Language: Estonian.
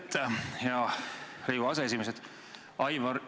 Aitäh, hea Riigikogu aseesimees!